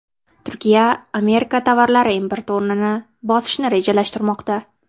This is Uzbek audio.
Turkiya Amerika tovarlari importi o‘rnini bosishni rejalashtirmoqda.